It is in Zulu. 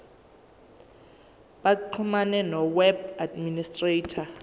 baxhumane noweb administrator